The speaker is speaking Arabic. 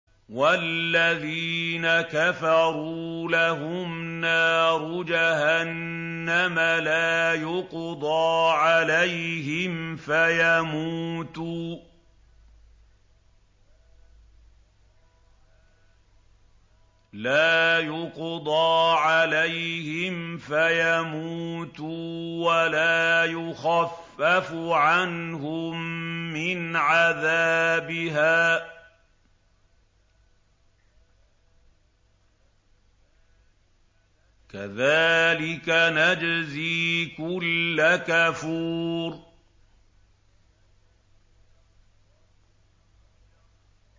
وَالَّذِينَ كَفَرُوا لَهُمْ نَارُ جَهَنَّمَ لَا يُقْضَىٰ عَلَيْهِمْ فَيَمُوتُوا وَلَا يُخَفَّفُ عَنْهُم مِّنْ عَذَابِهَا ۚ كَذَٰلِكَ نَجْزِي كُلَّ كَفُورٍ